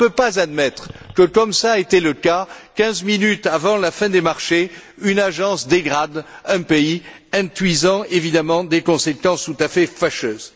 On ne peut pas admettre que, comme cela a été le cas, quinze minutes avant la fin des marchés, une agence dégrade un pays induisant évidemment des conséquences tout à fait fâcheuses.